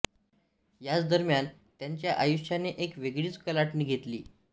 याच दरम्यान त्यांच्या आयुष्याने एक वेगळीच कलाटणी घेतली